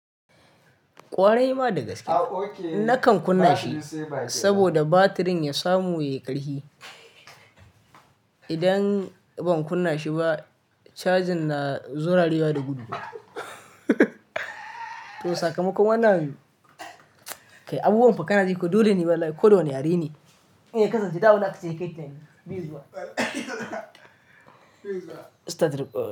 Ƙwarai ma da gaske. Nakan kunna shi saboda batirin ya samu ya yi ƙarfi. Idan ban kunna shi ba, cajin na zurarewa da gudu. To sakamakon wannan abu. Kai abubuwan fa kanajiko koda wane yareneduk dole ne walai. Kowane yare ne. Eh kasance da ulakce yake tayi. Bizuwa.